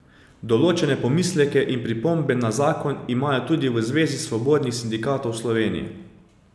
Določene pomisleke in pripombe na zakon imajo tudi v Zvezi svobodnih sindikatov Slovenije.